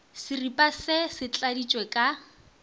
seripa se se tladitšwe ka